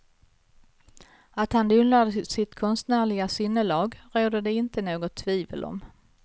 Att han odlar sitt konstnärliga sinnelag råder det inte något tvivel om.